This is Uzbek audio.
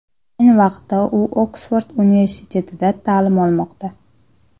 Ayni vaqtda u Oksford universitetida ta’lim olmoqda.